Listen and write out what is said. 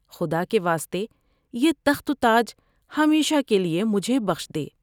خدا کے واسطے سے تخت و تاج ہمیشہ کے لیے مجھے بخش دے ۔